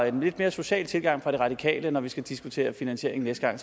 en lidt mere social tilgang fra de radikale når vi skal diskutere finansiering næste gang